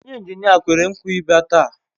Onye injinia kwere nkwa Ibia taata